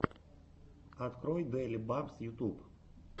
открой дэйли бампс ютуб